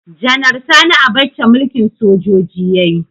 Janar Sani Abacha mulkin sojoji yayi